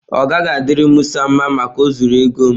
Ọ gaghị adịri Musa mma Maka o zuru ego m.